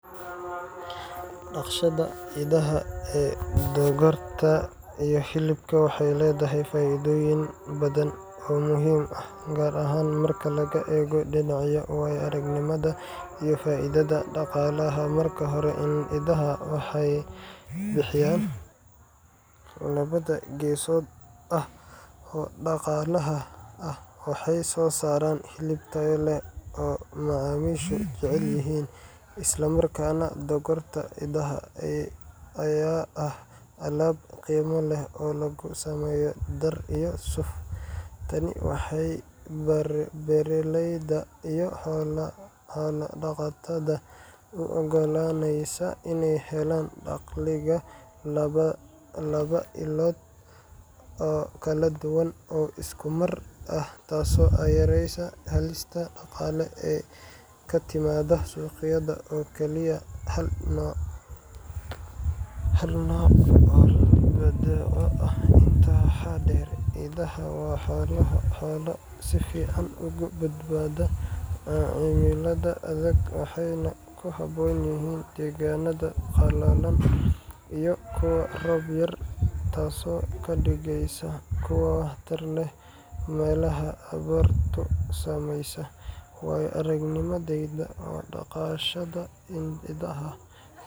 Dhaqashada idaha ee dhogorta iyo hilibka waxay leedahay faa’iidooyin badan oo muhiim ah, gaar ahaan marka laga eego dhinaca waayo-aragnimada iyo faa’iidada dhaqaalaha. Marka hore, idaha waxay bixiyaan il laba-geesood ah oo dhaqaalaha ah—waxay soo saaraan hilib tayo leh oo macaamiishu jecel yihiin, isla markaana dhogorta idaha ayaa ah alaab qiimo leh oo laga sameeyo dhar iyo suuf. Tani waxay beeraleyda iyo xoolo-dhaqatada u oggolaaneysaa inay helaan dakhliga laba ilood oo kala duwan oo isku mar ah, taasoo yareysa halista dhaqaale ee ka timaada suuqyada oo kaliya hal nooc oo badeeco ah. Intaa waxaa dheer, idaha waa xoolo si fiican uga badbaada cimilada adag, waxayna ku habboon yihiin deegaanada qallalan iyo kuwa roob yar, taasoo ka dhigaysa kuwo waxtar leh meelaha abaartu saamaysay. Waayo-aragnimadeyda, dhaqashada idaha.